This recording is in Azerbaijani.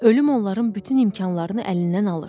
Ölüm onların bütün imkanlarını əlindən alır.